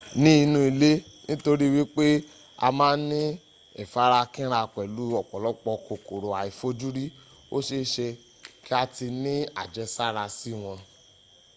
ni inu ile nitori wipe a ma n ni ifarakinra pelu opolopo kokoro aifojuri o seese ki a ti ni ajesara si won